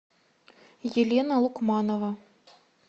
елена лукманова